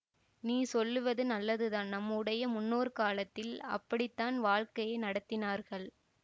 நீ சொல்வது நல்லதுதான் நம்முடைய முன்னோர் காலத்தில் அப்படித்தான் வாழ்க்கை நடத்தினார்கள்